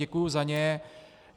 Děkuju za ně.